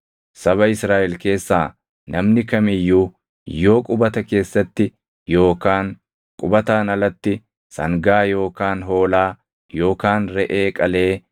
Saba Israaʼel keessaa namni kam iyyuu yoo qubata keessatti yookaan qubataan alatti sangaa yookaan hoolaa yookaan reʼee qalee